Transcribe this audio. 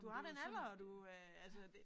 Du har den alder og du øh altså det